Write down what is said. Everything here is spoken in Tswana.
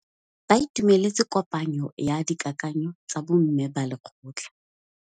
Ba itumeletse kôpanyo ya dikakanyô tsa bo mme ba lekgotla.